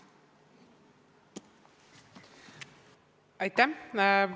Aitäh!